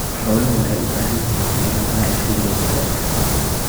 Xooluhu waxay u baahan yihiin fiiro gaar ah xilliga jiilaalka.